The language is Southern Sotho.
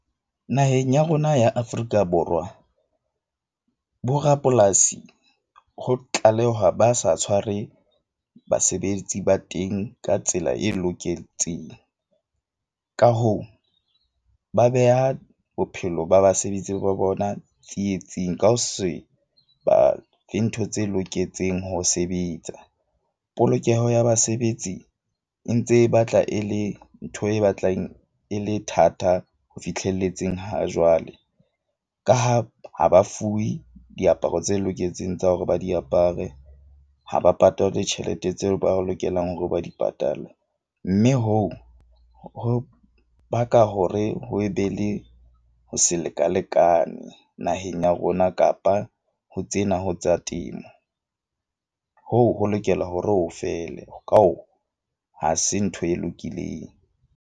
Naheng ya rona ya Afrika Borwa bo rapolasi ho tlalehwa ba sa tshware basebetsi ba teng ka tsela e loketseng. Ka hoo ba beha bophelo ba basebetsi ba bona tsietsing ka ho se ba le ntho tse loketseng ho sebetsa. Polokeho ya basebetsi e ntse e batla e le ntho e batlang e le thata ho fihlelletseng ha jwale. Ka ha ha ba fuwe diaparo tse loketseng tsa hore ba di apare, ha ba patalwe tjhelete tseo ba re lokelang hore ba di patalwe. Mme hoo ho baka hore ho be le ho se lekalekanwe naheng ya rona kapa ho tsena ho tsa temo, hoo ho lokela hore ho fele. Ka hoo, ha se ntho e lokileng.